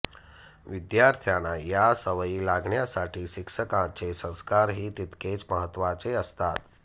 विद्यार्थ्यांना या सवयी लागण्यासाठी शिक्षकांचे संस्कारही तितकेच महत्वाचे असतात